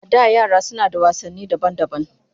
A da yara suna da wasanni daban-daban